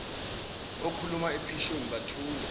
okhuluma ephusheni bathula